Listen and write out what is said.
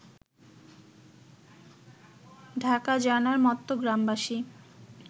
ঢাকা জানার মত্ত গ্রামবাসী